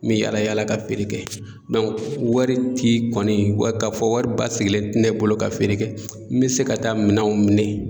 N bɛ yaala yaala ka feere kɛ wari ti kɔni ka fɔ wari basigilen tɛ ne bolo ka feere kɛ, n bɛ se ka taa minɛnw minɛ